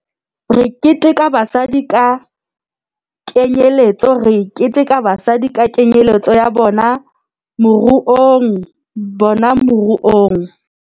Re keteka basadi ka kenyeletso Re keteka basadi ka kenyeletso ya bona moruongya bona moruong